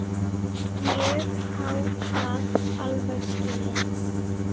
Ég á það alveg skilið.